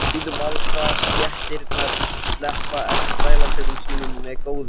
Auðvaldsstéttirnar sleppa ekki þrælatökum sínum með góðu.